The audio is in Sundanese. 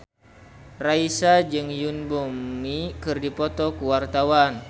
Raisa jeung Yoon Bomi keur dipoto ku wartawan